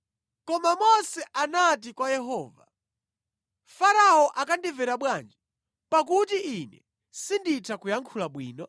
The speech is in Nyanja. Koma Mose anati kwa Yehova, “Farao akandimvera bwanji, pakuti ine sinditha kuyankhula bwino?”